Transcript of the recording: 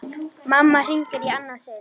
Mamma hringir í annað sinn.